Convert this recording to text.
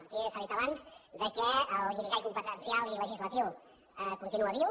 aquí s’ha dit abans que el guirigall competencial i legislatiu continua viu